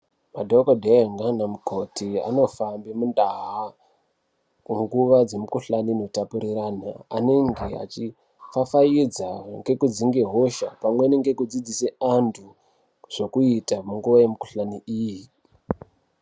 Madhokodhee naanamukoti anofambe muntaa, munguva dzemikhuhlani inotapuriranwa, anenge achifafaidza ngekudzinge hosha, pamweni ngekudzidzise antu zvekuita munguva yemikhuhlani iyi.